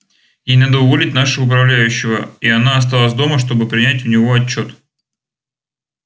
ей надо уволить нашего управляющего и она осталась дома чтобы принять у него отчёт